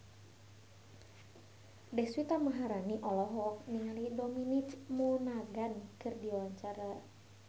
Deswita Maharani olohok ningali Dominic Monaghan keur diwawancara